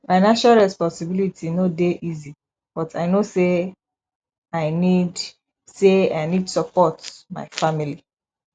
financial responsibility no dey easy but i know say i need say i need support my family